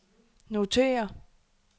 notér